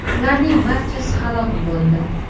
Ularning barchasi halok bo‘ldi.